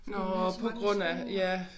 Fordi hun havde så mange spændinger